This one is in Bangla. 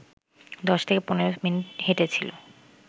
দশ থেকে পনেরো মিনিট হেঁটেছিল